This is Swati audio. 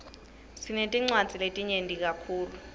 sinetinwadzi letinyeti kakhulu